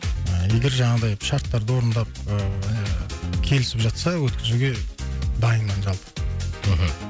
і егер жаңағындай шарттарды орындап ыыы келісіп жатса өткізуге дайынмын жалпы мхм